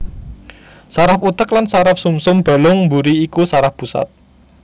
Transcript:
Saraf utek lan saraf sumsum balung mburi iku saraf pusat